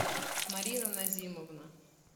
марина назимовна